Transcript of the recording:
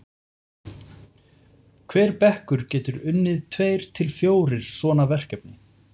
hver bekkur getur unnið tveir til fjórir svona verkefni